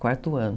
Quarto ano.